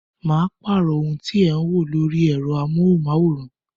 Ma pàrọ̀ ohun tí ẹ ń wò lórí ẹ̀rọ amóhùn máwòrán